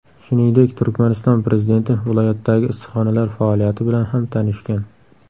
Shuningdek, Turkmaniston prezidenti viloyatdagi issiqxonalar faoliyati bilan ham tanishgan.